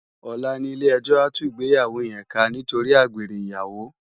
Òlá ni ilé èjò á tú igbéyáwó yèn ká nitóri ágbéré iyáwó